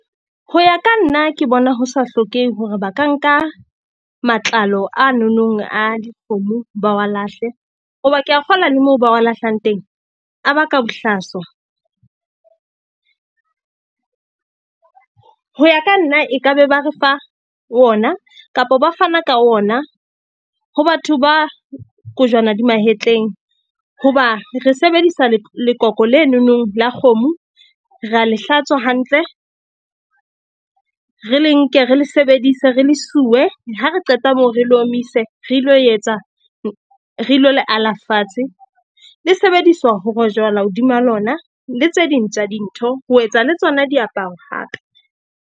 Ho ya ka nna, ke bona ho sa hlokehe hore ba ka nka matlalo a nonong a dikgomo ba wa lahle. Hoba ke a kgola le moo ba wa lahlang teng a baka bohlaswa. Ho ya ka nna e ka be ba re fa ona kapa ba fana ka ona ho batho ba kojwana di mahetleng. Hoba re sebedisa lekoko lenonong la kgomo. Re a le hlatswa hantle, re le nke, re le sebedise, re le suwe ha re qeta moo, re le omise. Re ilo etsa re ilo le ala fatshe. Le sebediswa ho rojwala hodima lona, le tse ding tsa dintho, ho etsa le tsona diaparo hape.